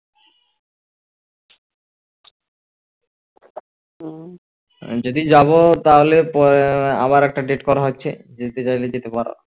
যেদিন যাবো তাহলে আবার একটা date করা হচ্ছে যেতে চাইলে যেতে পারো